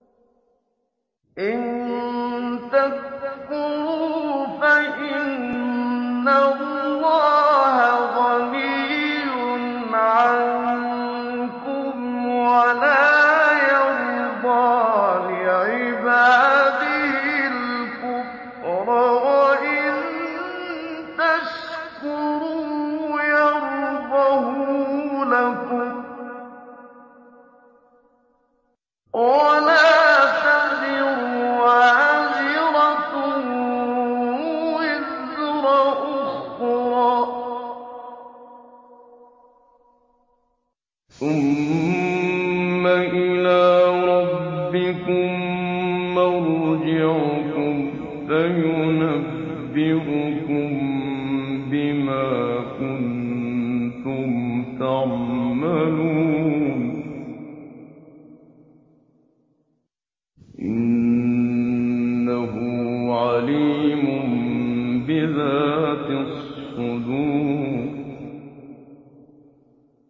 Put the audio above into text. إِن تَكْفُرُوا فَإِنَّ اللَّهَ غَنِيٌّ عَنكُمْ ۖ وَلَا يَرْضَىٰ لِعِبَادِهِ الْكُفْرَ ۖ وَإِن تَشْكُرُوا يَرْضَهُ لَكُمْ ۗ وَلَا تَزِرُ وَازِرَةٌ وِزْرَ أُخْرَىٰ ۗ ثُمَّ إِلَىٰ رَبِّكُم مَّرْجِعُكُمْ فَيُنَبِّئُكُم بِمَا كُنتُمْ تَعْمَلُونَ ۚ إِنَّهُ عَلِيمٌ بِذَاتِ الصُّدُورِ